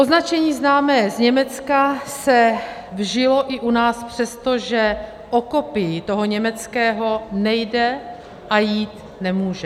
Označení známé z Německa se vžilo i u nás, přestože o kopii toho německého nejde a jít nemůže.